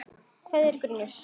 Kveðjur og grunur